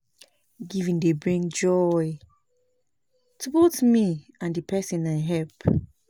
Wen I help pesin e dey give me joy because I don do wetin I love